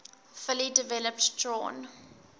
fully developed drawn